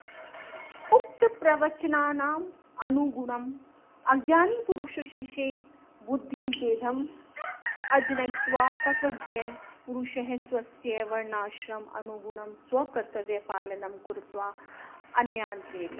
उक्तप्रवचनानुगुणम् अज्ञानिपुरुषेषु बुद्धिभेदम् अजनयित्वा तत्त्वज्ञपुरुषः स्वस्य वर्णाश्रमानुगुणं स्वकर्तव्यपालनं कृत्वा अन्यान् प्रेरयेत्